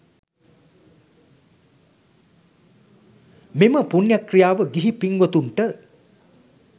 මෙම පුණ්‍ය ක්‍රියාව ගිහි පින්වතුන්ට